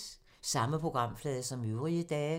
Samme programflade som øvrige dage